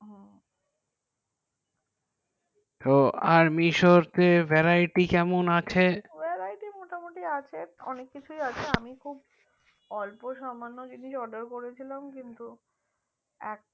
তো আর misho তে variety আছে variety মোটামুটি আছে অনেক কিছুই আছে আমি খব অল্প সামান্য জিনিস order করেছিলাম কিন্তু এক